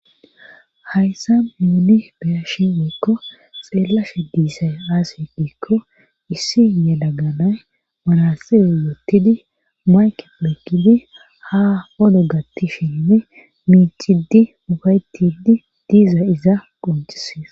Hayssa muudi beyashi woykko xeellashe diisay aasey diikko issi yadaganay marasire wottidi maykep lekkidi ha odo gatti shenne miicidi mubaytidi diiza iza qoncisees